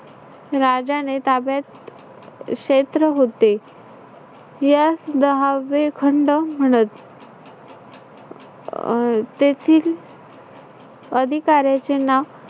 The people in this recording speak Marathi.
राजाने ताब्यात क्षेत्र होते. यास दहावे खंड म्हणत. अह तेथील अधिकार्‍याचे नाक